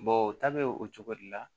o ta bɛ o cogo de la